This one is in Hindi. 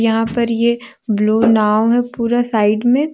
यहां पर ये ब्लू नांव है पूरा साइड में।